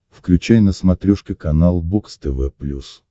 включай на смотрешке канал бокс тв плюс